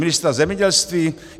Ministra zemědělství?